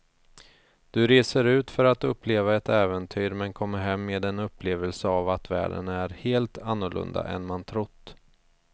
Du reser ut för att uppleva ett äventyr men kommer hem med en upplevelse av att världen är helt annorlunda än man trott.